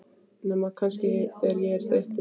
Nema kannski, þegar ég er þreyttur.